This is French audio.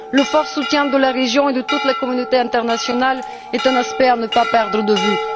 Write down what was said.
Le soutien résolu de la région et de toute la communauté internationale est un aspect à ne pas perdre de vue.